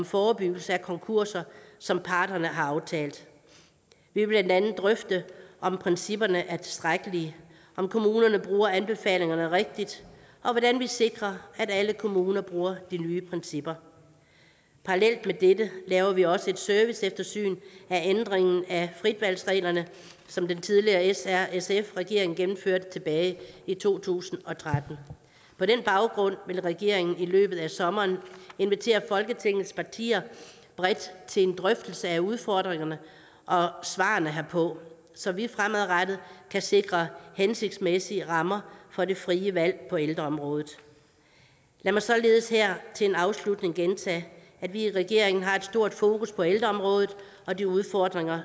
forebyggelse af konkurser som parterne har aftalt vi vil blandt andet drøfte om principperne er tilstrækkelige om kommunerne bruger anbefalingerne rigtigt og hvordan vi sikrer at alle kommuner bruger de nye principper parallelt med dette laver vi også et serviceeftersyn af ændringen af fritvalgsreglerne som den tidligere s r sf regering gennemførte tilbage i to tusind og tretten på den baggrund vil regeringen i løbet af sommeren invitere folketingets partier bredt til en drøftelse af udfordringerne og svarene herpå så vi fremadrettet kan sikre hensigtsmæssige rammer for det frie valg på ældreområdet lad mig således her til en afslutning gentage at vi i regeringen har et stort fokus på ældreområdet og de udfordringer